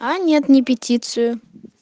а нет не петицию